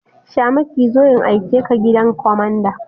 Shamaki zo in aike ka gidan kwamanda!